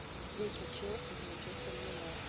встреча челси с манчестер юнайтед